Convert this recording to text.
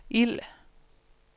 ild